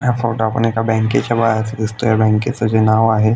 ह्या फोटो आपल्याला एक बँकेचा बाहेर चा दिसतोय बँकेच चे नाव आहे--